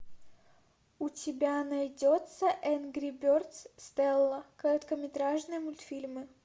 у тебя найдется энгри бердс стелла короткометражные мультфильмы